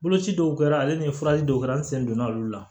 Boloci dɔw kɛra ale ni furaji dɔw kɛra an sen donna olu la